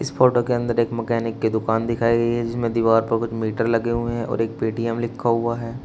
इस फोटो के अंदर एक मैकेनिक की दुकान दिखाई गई है जिसमें दीवार पर कुछ मीटर लगे हुए हैं और एक पेटीएम लिखा हुआ है।